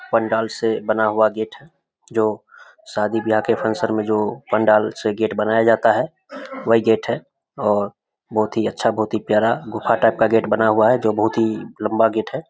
पंडाल से बना हुआ गेट है जो शादी ब्याह के फंक्शन में जो पंडाल से गेट बनाया जाता है वही गेट है और बहोत ही अच्छा बहोत ही प्यारा गुफा टाइप का गेट बना हुआ है जो बहोत ही लंबा गेट है।